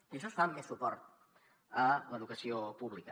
i això es fa amb més suport a l’educació pública